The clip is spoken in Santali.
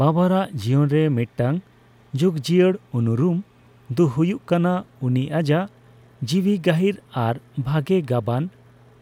ᱵᱟᱵᱚᱨᱟᱜ ᱡᱤᱭᱚᱱᱨᱮ ᱢᱤᱫᱴᱟᱝ ᱡᱩᱜᱡᱤᱭᱟᱹᱲ ᱩᱱᱩᱨᱩᱢ ᱫᱚ ᱦᱳᱭᱳᱜ ᱠᱟᱱᱟ ᱩᱱᱤ ᱟᱭᱟᱜ ᱡᱤᱣᱤ ᱜᱟᱹᱦᱤᱨ ᱟᱨ ᱵᱷᱟᱜᱮ ᱜᱟᱵᱟᱱ